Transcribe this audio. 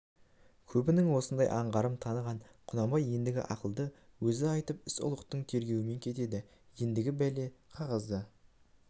көбінің осындай аңғарын таныған құнанбай еңдігі ақылды өзі айтып іс ұлықтың тергеуіне кетеді ендігі бәле қағазда